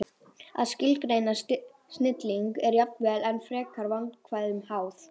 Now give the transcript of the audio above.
Að skilgreina snilling er jafnvel enn frekar vandkvæðum háð.